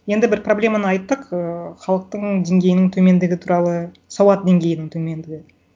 енді бір проблеманы айттық ыыы халықтың деңгейінің төмендігі туралы сауат деңгейінің төмендігі